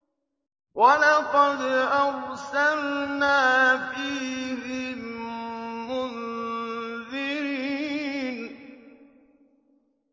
وَلَقَدْ أَرْسَلْنَا فِيهِم مُّنذِرِينَ